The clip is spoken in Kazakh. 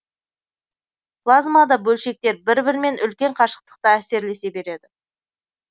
плазмада бөлшектер бір бірімен үлкен қашықтықта әсерлесе береді